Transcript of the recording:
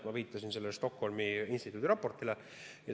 Ma viitasin Stockholmi instituudi raportile.